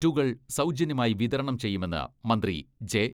റ്റുകൾ സൗജന്യമായി വിതരണം ചെയ്യുമെന്ന് മന്ത്രി ജെ.